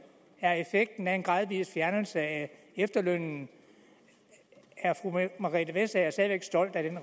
er effekten af en gradvis fjernelse af efterlønnen er fru margrethe vestager stadig væk stolt af